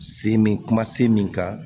Se min kuma se min kan